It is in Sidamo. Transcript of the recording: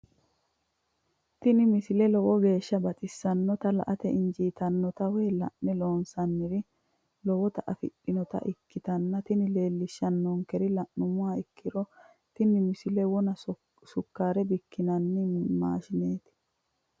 tini misile lowo geeshsha baxissannote la"ate injiitanno woy la'ne ronsannire lowote afidhinota ikkitanna tini leellishshannonkeri la'nummoha ikkiro tini misile wona woy sukkaare bikki'nanni maashineeti.